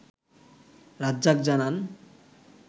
রাজ্জাক জানান